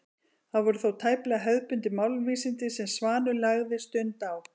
Það voru þó tæplega hefðbundin málvísindi sem Svanur lagði stund á.